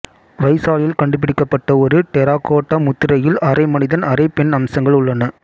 வைசாலியில் கண்டுபிடிக்கப்பட்ட ஒரு டெரகோட்டா முத்திரையில் அரை மனிதன் அரை பெண் அம்சங்கள் உள்ளன